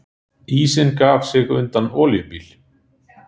Ísinn gaf sig undan olíubíl